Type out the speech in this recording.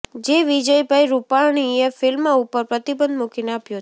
જે વિજયભાઈ રૂપાણીએ ફિલ્મ ઉપર પ્રતિબંધ મૂકીને આપ્યો છે